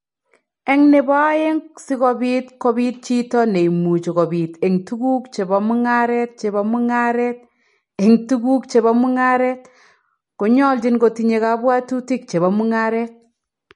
Eng' ne po aeng', si kobiit kobiit chiito ne imuuchi kobiit eng' tuguuk che po mung'aaret che po mung'aaret eng' tuguuk che po mung'aaret, ko nyoljin kotinyei kabwaatutik che po mung'aaret.